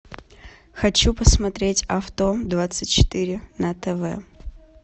хочу посмотреть авто двадцать четыре на тв